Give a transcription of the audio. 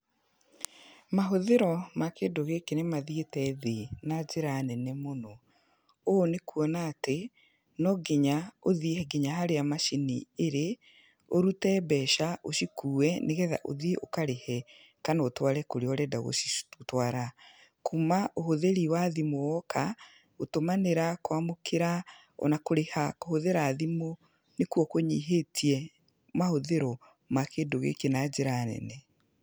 Mahũthĩro ma kĩndũ gĩkĩ nĩ mathiĩte thĩ na njĩra nene mũno, ũũ nĩ kuona atĩ no nginya ũthiĩ nginya harĩa macini ĩrĩ, ũrute mbeca ũcikue, nĩgetha ũthiĩ ũkarĩhe kana ũtware kũrĩa ũrenda gũcitwara, kuuma ũhũthĩri wa thimũ woka, gũtũmanĩra, kwamũkĩra ona kũrĩha kũhũthĩra thimũ nĩkuo kũnyihĩtie mahũthĩro ma kĩndũ gĩkĩ na njĩra nene.